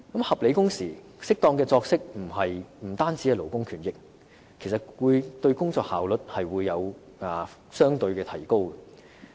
合理的工時和適當的作息並不單是勞工權益，還會使員工的工作效率相對提高。